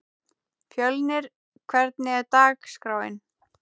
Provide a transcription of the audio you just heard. Fjölnir, hvernig er dagskráin?